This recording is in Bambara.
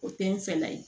O te n fɛla ye